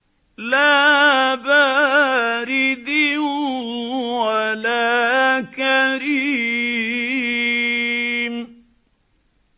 لَّا بَارِدٍ وَلَا كَرِيمٍ